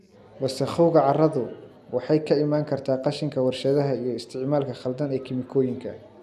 Wasakhowga carradu waxay ka iman kartaa qashinka warshadaha iyo isticmaalka khaldan ee kiimikooyinka.